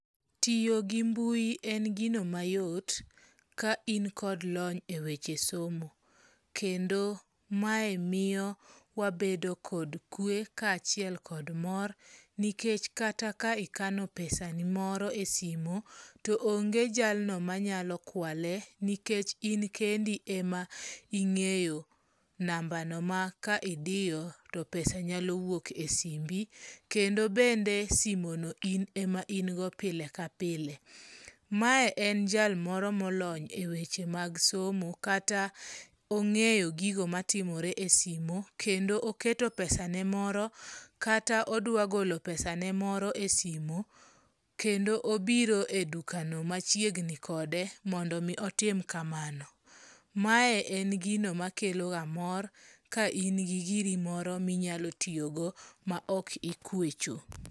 Tiyo gi mbui en gino mayot ka in kod lony eweche somo. Kendo mae miyo wabedo kod kwe kaachiel kod mor nikech kata ka ikano pesa ni moro e simu, to onge jalno manyalo kwale nikech in kendi ema ing'eyo nambano ma ka idiyo to pesa nyalo wuok e simbi. Kendo bende simono in ema in godo pile ka pile. Mae en jal moro molony e weche mag somo, kata ong'eyo gigo matimore e simu kendo oketo pesane moro kata odwa golo pesane moro e simu. Kendo obiro e dukano machiegni kode mondo mi otim kamano. Mae en gino makeloga mor ka in gi giri moro minyalo tiyogo maok ikwecho.